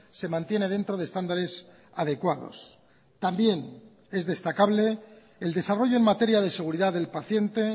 se mantiene dentro de estándares adecuados también es destacable el desarrollo en materia de seguridad del paciente